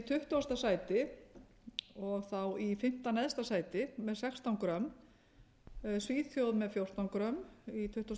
tuttugasta sæti í í fimmta neðsta sæti með sextán g svíþjóð með fjórtán g í tuttugasta og fyrsta sæti svo kemur